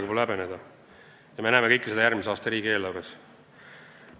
Ma arvan, et meil pole midagi häbeneda ja me näeme seda kõike järgmise aasta riigieelarves.